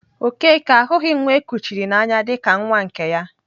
Okeke ahụghị nwa e kuchiri n'anya dị ka nwa nke ya.